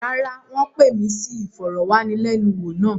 Rárá, wọ́n pè mí sí ìfọ̀rọ̀wánilẹ́niwò náà.